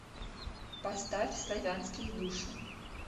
поставь славянские души